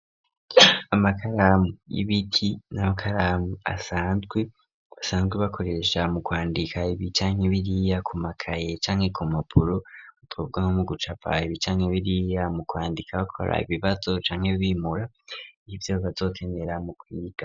Amakaramu y'ibiti n'amakaramu asanzwe basanzwe bakoresha mu kwandika ibicanya ibiriya ku makaye canke ku mapuru utobwa no mu gucapay ibicanya ibiriya mu kwandika bakora ibibazo canke bimura ivyobazokenera mu kwiga.